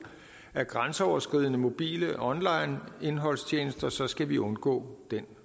af grænseoverskridende mobile online indholdstjenester så skal vi undgå den